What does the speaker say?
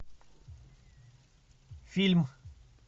фильм